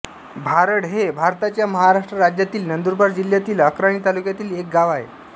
भारड हे भारताच्या महाराष्ट्र राज्यातील नंदुरबार जिल्ह्यातील अक्राणी तालुक्यातील एक गाव आहे